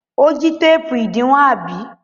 Ó jí téépù ìdiwọn, àbí?